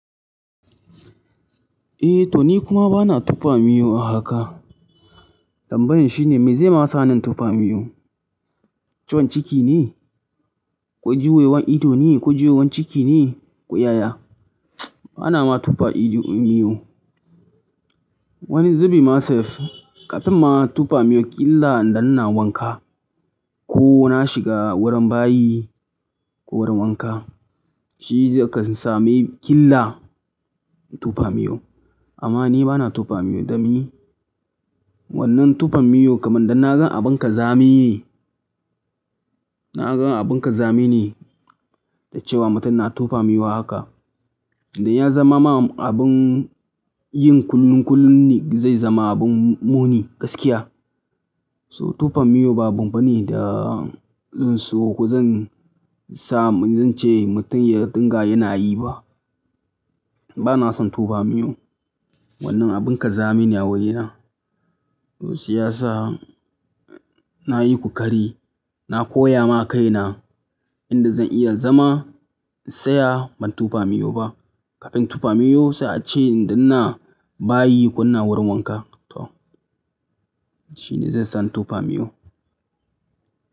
Eh to ni kuma bana tufa miyo a haka. Tambayan shine me zaima sani in tufa miyo? Ciwon cikine? Ko juyewan idone? Ko juyewan cikine? Ko yaya. Banama tufa ido, miyo. Wani zubimma sef, kafinma tufa miyo, killa idanna ina wanka. Kona shiga wurin bayi ko wurin wanka. Shizai ka sami killa tufa miyo. Ammani bana tufa miyo domi. Wannan tufam miyo kaman danna gan abun kazami ne. Na gan abun kazami ne, da cewa mutum na tufa miyo a haka. Danya zamama abun yin kullun kullun ne, zai zama abun muni gaskiya. So tufam miyo ba abun bane da in so kozan sa, zance mutum ya dinga yanayi ba. Ba na son tufam miyo. Wannan abun kazami ne a wurina. To shiyasa nayi kokari. Na koyama kaina, inda zan iya zama, in tsaya ban tufa miyo ba. Kafin tufa miyo, sai ace danna bayi ko ina wurin wanka. To. Shi ne zai sa tufam miyo.